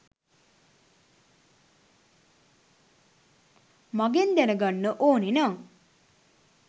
මගෙන් දැනගන්න ඕනෙනං